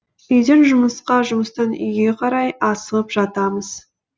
үйден жұмысқа жұмыстан үйге қарай асығып жатамыз